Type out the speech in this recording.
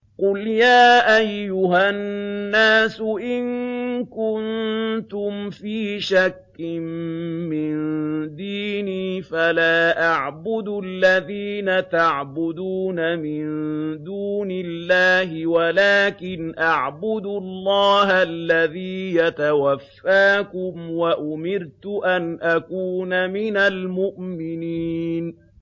قُلْ يَا أَيُّهَا النَّاسُ إِن كُنتُمْ فِي شَكٍّ مِّن دِينِي فَلَا أَعْبُدُ الَّذِينَ تَعْبُدُونَ مِن دُونِ اللَّهِ وَلَٰكِنْ أَعْبُدُ اللَّهَ الَّذِي يَتَوَفَّاكُمْ ۖ وَأُمِرْتُ أَنْ أَكُونَ مِنَ الْمُؤْمِنِينَ